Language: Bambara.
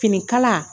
Finikala